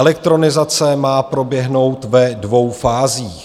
Elektronizace má proběhnout ve dvou fázích.